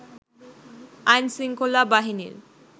আইনশৃঙ্খলা বাহিনীর